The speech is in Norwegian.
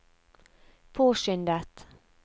påskyndet